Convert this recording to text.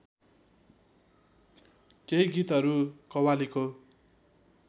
केही गीतहरू कव्वालीको